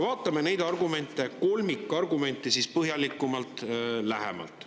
Vaatame neid argumente, kolmikargumenti siis põhjalikumalt, lähemalt.